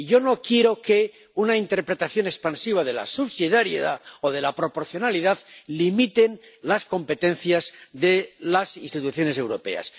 Y yo no quiero que una interpretación expansiva de la subsidiariedad o de la proporcionalidad limiten las competencias de las instituciones europeas.